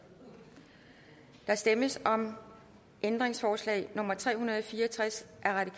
der stemmes om ændringsforslag nummer tre hundrede og fire og tres